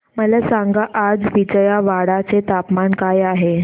मला सांगा आज विजयवाडा चे तापमान काय आहे